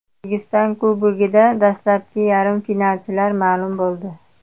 O‘zbekiston Kubogida dastlabki yarim finalchilar ma’lum bo‘ldi.